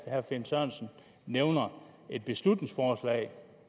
herre finn sørensen nævner et beslutningsforslag